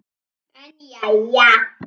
En jæja.